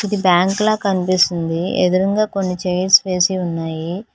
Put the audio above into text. బ్యాంకుల కనిపిస్తుంది ఎదురూంగా కొన్ని చైర్స్ వేసి ఉన్నాయి.